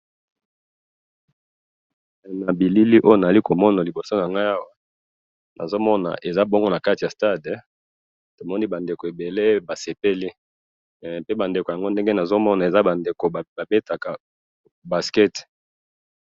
na bilili oyo nazali komona liboso nangai awa, nazomona eza bongo nakati ya stade, tomoni ba ndeko ebele basepeli, pe ba ndeko yango ndenge nazomona eza ba ndeko babetaka basket